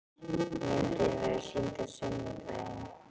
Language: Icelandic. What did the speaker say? Myndin verður sýnd á sunnudaginn.